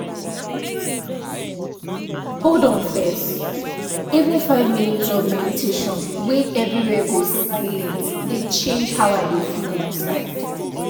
hold on first— even five minute of meditation wey everywhere go silient dey change how i dey feel inside